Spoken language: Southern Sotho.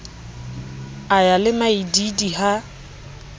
a ya le maidiidi ha